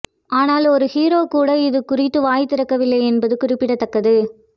ஆனால் ஒரு ஹீரோ கூட இது குறித்து வாய் திறக்கவில்லை என்பது குறிப்பிடத்தக்கது